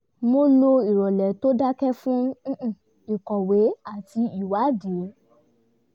mo lo ìrọ̀lẹ́ tó dakẹ́ fún ìkọ̀wé àti ìwádìí